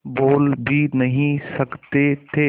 बोल भी नहीं सकते थे